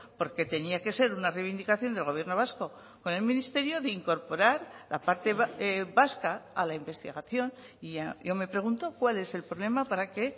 porque tenía que ser una reivindicación del gobierno vasco con el ministerio de incorporar la parte vasca a la investigación y yo me pregunto cuál es el problema para que